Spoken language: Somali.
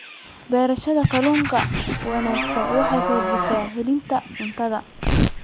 Beerashada kalluunka ee wanaagsan waxay kordhisaa helitaanka cuntada.